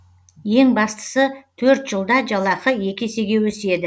ең бастысы төрт жылда жалақы екі есеге өседі